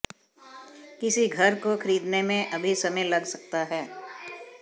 किसी घर को खरीदने में अभी समय लग सकता है